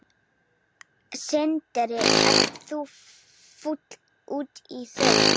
Sindri: Ert þú fúll út í þau?